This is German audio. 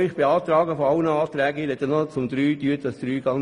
Ich spreche nur über Auflage 3.